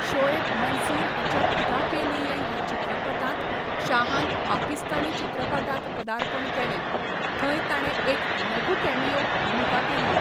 शोएब मंसूर हाच्या 'खुदा के लिए' ह्या चित्रपटांत शाहान पाकिस्तानी चित्रपटांत पदार्पण केलें, थंय ताणें एक लघुकॅमियो भुमिका केल्ली.